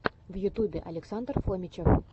в ютьюбе александр фомичев